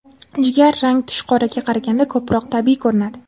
Jigar rang tush qoraga qaraganda ko‘proq tabiiy ko‘rinadi.